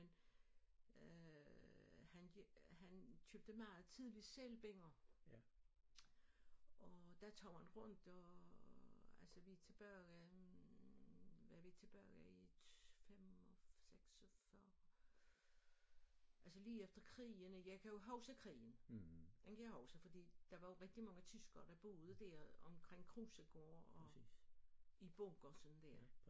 Men øh han han købte meget tidligt selvbinder og der tog han rundt og altså vi tilbage hvad vi tilbage i 5 og 46 altså lige efter krigen ikke jeg kan jo huske krigen den kan jeg huske fordi der var jo rigtig mange tyskere der boede der omkring Krusegård og i bunker sådan der